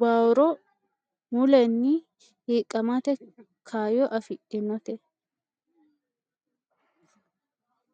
baurro mulenni hiiqqamate kaayyo afidhinote.